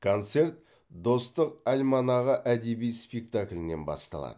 концерт достық альманағы әдеби спектаклінен басталады